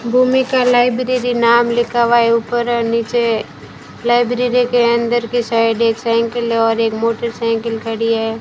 भूमिका लाइब्रेरी नाम लिखा हुआ है ऊपर नीचे लाइब्रेरी के अंदर की साइड एक साइकिल हैं और एक मोटरसाइकिल खड़ी है।